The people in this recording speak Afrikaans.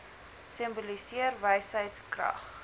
simboliseer wysheid krag